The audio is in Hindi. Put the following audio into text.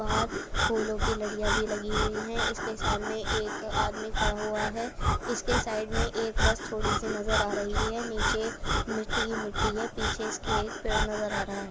बाहर फूलो की लडिया भी लगी हुई है। इसके सामने एक आदमी खड़ा हुआ है। इसके साइड में एक बस थोड़ी सी नजर आ रही है। नीचे मिट्टी ही ही मिट्टी है। पीछे इसके एक पेड़ नजर आ रहा है।